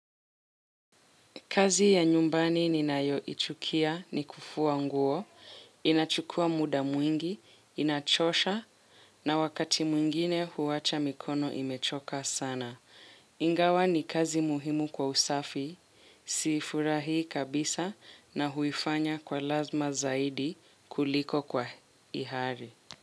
Kazi ya nyumbani ninayoichukia ni kufua nguo, inachukua muda mwingi, inachosha na wakati mwingine huwacha mikono imechoka sana. Ingawa ni kazi muhimu kwa usafi, siifurahi kabisa na huifanya kwa lazima zaidi kuliko kwa ihari.